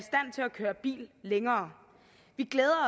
køre bil længere vi glæder